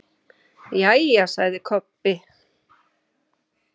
Jæja, sagði Kobbi.